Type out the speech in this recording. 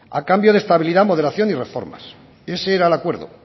a cambio de estabilidad moderación y reformas ese era el acuerdo